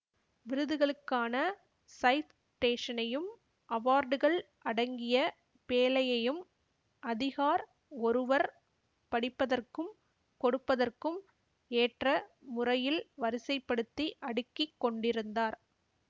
விருதுகளுக்கான ஸைட்டேஷனையும் அவார்டுகள் அடங்கிய பேழையையும் அதிகார் ஒருவர் படிப்பதற்கும் கொடுப்பதற்கும் ஏற்ற முறையில் வரிசைப்படுத்தி அடுக்கி கொண்டிருந்தார்